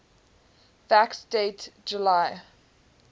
fact date july